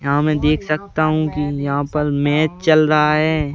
यहाँ मैं देख सकता हूँ कि यहाँ पर मैच चल रहा है।